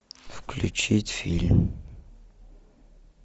включить фильм